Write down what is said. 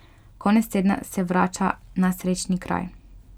Konec tedna se vrača na srečni kraj.